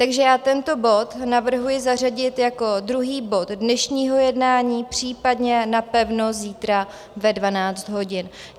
Takže já tento bod navrhuji zařadit jako druhý bod dnešního jednání, případně napevno zítra ve 12 hodin.